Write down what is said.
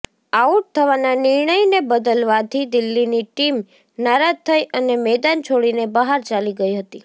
out થવાના નિર્ણયને બદલવાથી દિલ્હીની ટીમ નારાજ થઈ અને મેદાન છોડીને બહાર ચાલી ગઈ હતી